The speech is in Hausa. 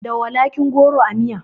Da walakin goro a miya